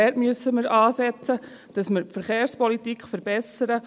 Dort müssen wir ansetzen: Dass wir die Verkehrspolitik verbessern.